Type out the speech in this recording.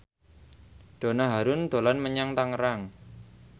Donna Harun dolan menyang Tangerang